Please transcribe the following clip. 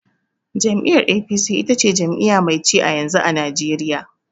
Jam'iyyar "A.P.C" ita ce jami'iya mai ci a yanzu, a najeriya